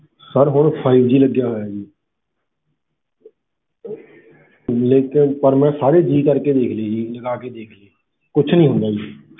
Sir ਹੁਣ five G ਲੱਗਿਆ ਹੋਇਆ ਜੀ ਲੇਕਿੰਨ ਪਰ ਮੈਂ ਸਾਰੇ G ਕਰਕੇ ਦੇਖ ਲਏ ਜੀ ਲਗਾ ਕੇ ਦੇਖ ਲਏ ਕੁਛ ਨੀ ਹੁੰਦਾ ਜੀ।